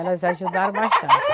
Elas ajudaram bastante.